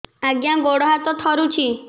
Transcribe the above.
ଆଜ୍ଞା ଗୋଡ଼ ହାତ ଥରୁଛି